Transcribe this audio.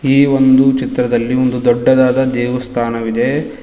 ಈ ಒಂದು ಚಿತ್ರದಲ್ಲಿ ಒಂದು ದೊಡ್ಡದಾದ ದೇವಸ್ತಾನವಿದೆ.